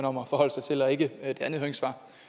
om at forholde sig til og ikke et andet høringssvar